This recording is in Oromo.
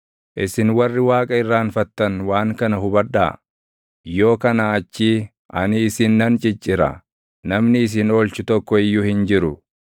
“Isin warri Waaqa irraanfattan waan kana hubadhaa; yoo kanaa achii ani isin nan ciccira; namni isin oolchu tokko iyyuu hin jiru.